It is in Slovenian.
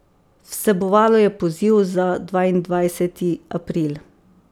Vsebovalo je poziv za dvaindvajseti april.